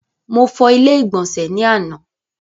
Mo fọ ilé ìgbọ̀nsẹ̀ ni àna.